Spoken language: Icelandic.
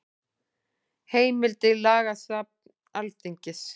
Heimildir Lagasafn Alþingis.